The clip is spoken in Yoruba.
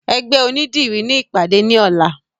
Ẹgbẹ́ onídìrí ni ìpàdé ní ọ̀la